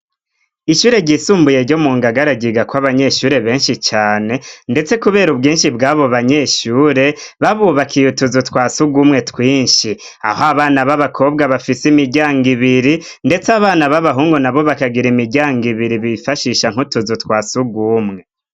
ishure ryisumbuye yo mu ngagaragiga kw abanyeshure benshi cyane ndetse kubera ubwinshi bw'abo banyeshure babubakiye utuzu twasuga umwe twinshi aho abana b'abakobwa bafise imijyango ibiri ndetse abana b'abahungu na bo bakagira imijyango ibiri bifashisha nk'utuzu twasuga umwe.